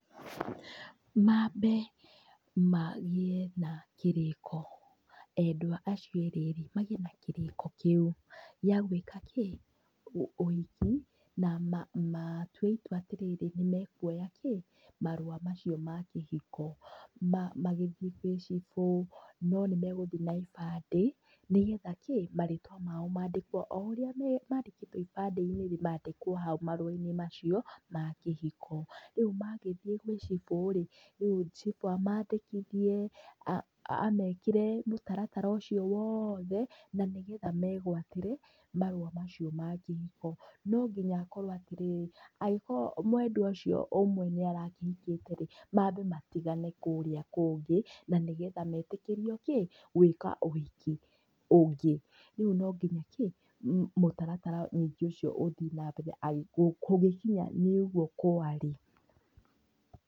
Mambe magĩe na kĩrĩko, endwa acio erĩ rĩ, magĩe na kĩrĩko, gĩa gwĩka kĩ, ũ ũhiki, na ma matue itua atĩtĩtĩ nĩmekuoya kĩ, marũa macio ma makĩhiko, ma magĩthiĩ gwĩ cibũ, ninĩmegũthiĩ na ibandĩ, nĩgetha kĩ, marĩtwa mao mandĩkwo o ũrĩa me mandĩkĩtwo ibandĩ-inĩ rĩ, mandĩkwo hau marũa-inĩ macio ma kĩhiko, rĩu magĩthiĩ gwĩ cibũ rĩ, cibũ amandĩkithie, amekĩre mũtaratara ũcio wothe, nanĩgetha megwatĩre, marũa macio ma kĩhiko, nonginya akorwo atĩrĩrí, angĩkorwo mwendwa ũcio ũmwe nĩarakĩhikĩte rĩ, mambe matigane kũrĩa kũngĩ, nanĩgetha metĩkĩrio kĩ, gwĩka ũhiki ũngĩ, rĩu nonginya kĩ, mũtaratara ningĩ ũcio ũthiĩ nambere agĩ kũngĩkinya nĩũguo kũarĩ.